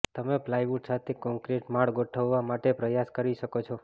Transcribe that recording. તમે પ્લાયવુડ સાથે કોંક્રિટ માળ ગોઠવવા માટે પ્રયાસ કરી શકો છો